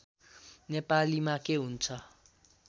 नेपालीमा के हुन्छ